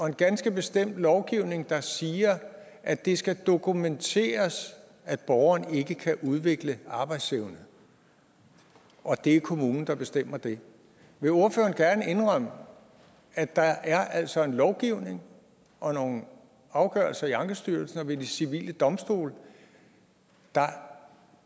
en ganske bestemt lovgivning der siger at det skal dokumenteres at borgeren ikke kan udvikle arbejdsevne og at det er kommunen der bestemmer det vil ordføreren indrømme at der altså er en lovgivning og nogle afgørelser i ankestyrelsen og ved de civile domstole der